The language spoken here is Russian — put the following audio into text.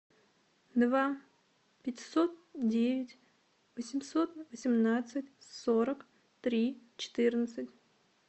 два пятьсот девять восемьсот семнадцать сорок три четырнадцать